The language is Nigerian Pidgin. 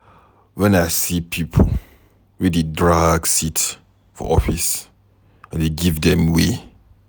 Wen I see pipo wey dey drag seat for office, I dey give dem way.